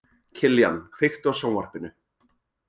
Kiljan, kveiktu á sjónvarpinu.